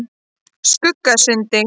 Skuggasundi